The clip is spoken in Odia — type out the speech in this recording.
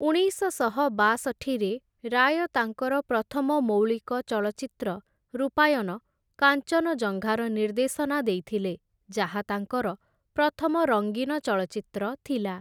ଉଣେଇଶଶହ ବାଷଠିରେ ରାୟ ତାଙ୍କର ପ୍ରଥମ ମୌଳିକ ଚଳଚ୍ଚିତ୍ର ରୂପାୟନ କାଞ୍ଚନଜଙ୍ଘାର ନିର୍ଦ୍ଦେଶନା ଦେଇଥିଲେ, ଯାହା ତାଙ୍କର ପ୍ରଥମ ରଙ୍ଗୀନ ଚଳଚ୍ଚିତ୍ର ଥିଲା ।